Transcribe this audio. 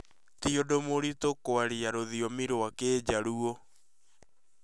Ti ũndũ mũritũ kwaria rũthiomi rwa kijaruo